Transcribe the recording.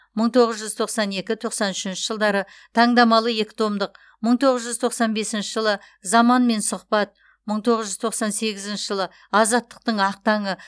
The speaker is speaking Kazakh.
мың тоғыз жүз тоқсан екі тоқсан үшінші жылдары таңдамалы екі томдық мың тоғыз жүз тоқсан бесінші жылы заманмен сұхбат мың тоғыз жүз тоқсан сегізінші жылы азаттықтың ақ таңы